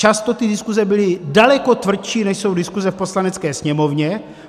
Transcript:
Často ty diskuze byly daleko tvrdší, než jsou diskuze v Poslanecké sněmovně.